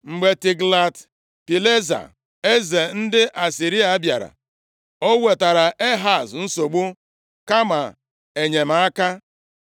Mgbe Tiglat-Pilesa + 28:20 Nke a bụ otu ọzọ e si akpọ Tiglat-Pilnesa eze ndị Asịrịa bịara, o wetaara Ehaz nsogbu kama enyemaka.